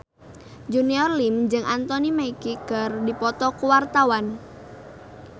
Junior Liem jeung Anthony Mackie keur dipoto ku wartawan